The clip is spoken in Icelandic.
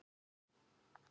Eigum við að breyta því?